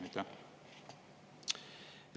Aitäh!